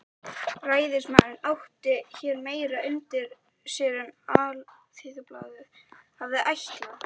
Ræðismaðurinn átti hér meira undir sér en Alþýðublaðið hafði ætlað.